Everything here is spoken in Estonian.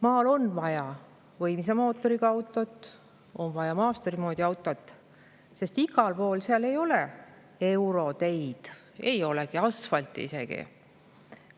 Maal on vaja võimsa mootoriga autot, on vaja maasturi moodi autot, sest igal pool ei ole euroteid, ei ole asfalti isegi.